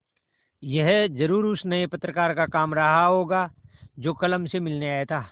यह ज़रूर उस नये पत्रकार का काम रहा होगा जो कल हमसे मिलने आया था